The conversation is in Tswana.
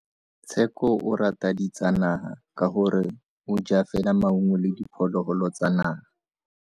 Tsheko o rata ditsanaga ka gore o ja fela maungo le diphologolo tsa naga.